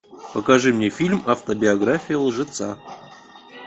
покажи мне фильм автобиография лжеца